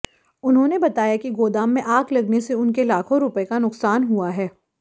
उन्होंने बताया कि गोदाम में आग लगने से उनको लाखों रुपए का नुकसान हुआ है